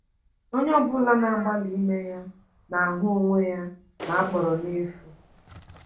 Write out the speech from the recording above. Onye ọ bụla na-agbalị ime ya na-ahụ onwe ya na-akpọrọ n’efu.